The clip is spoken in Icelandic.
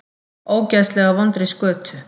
Ógeðslega vondri skötu.